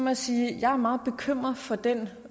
jeg sige at jeg er meget bekymret for den